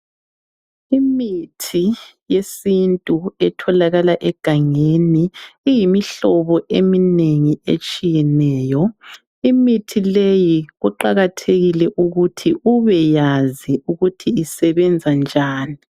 Imithi yesintu etholakala egangeni iyimihlobo eminengi etshiyeneyo. Imithi leyi kuqakathekile ukuthi ubeyazi ukuthi isebenza njani.